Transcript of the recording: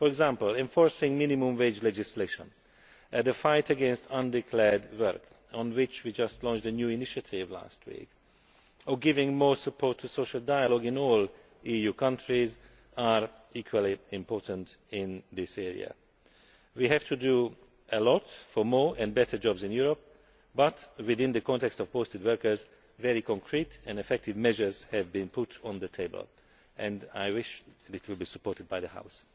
For example, enforcing minimum wage legislation and the fight against undeclared work, on which we launched a new initiative last week, and giving more support to social dialogue in all EU countries, are all equally important in this area. We have to do a lot for more and better jobs in Europe but, within the context of posted workers, very concrete and effective measures have been put on the table and I wish this to be supported by the House.